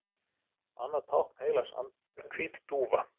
Annað tákn heilags anda er hvít dúfa.